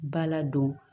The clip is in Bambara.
Ba ladon